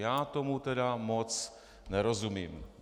Já tomu tedy moc nerozumím.